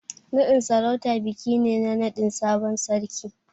Naɗin sarauta biki ne na naɗin sabon sarki.